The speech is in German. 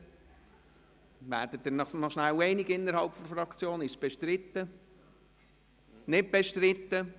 Gemäss den dem Präsidium gemeldeten Angaben ist es nicht bestritten.